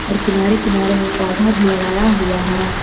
और किनारे किनारे में पौधा भी लगाया हुआ है।